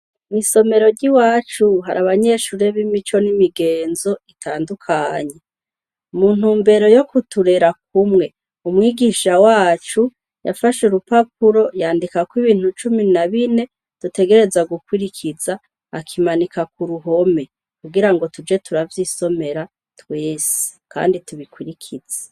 Misomero ryi wacu hari abanyeshure b'imico n'imigenzo itandukanyi umuntu mbero yo kuturera kumwe umwigisha wacu yafashe u rupapuro yandikako ibintu cumi na bine dutegereza gukwirikiza akimanika ku ruhome kugira ngo tuje turavyisomera twese, kandi tubikurikizi.